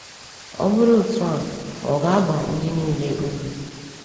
Ọ bụrụ otu a, ò ga-aba ndị niile uru?